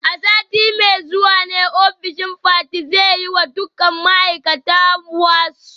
A sati mai zuwa ne ofishin Fatima zai yi wa dukkan ma'aikata wasu rigar riga